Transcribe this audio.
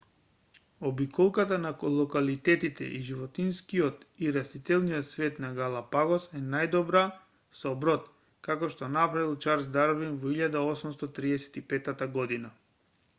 обиколката на локалитетите и животинскиот и растителниот свет на галапагос е најдобра со брод како што направил чарлс дарвин во 1835 година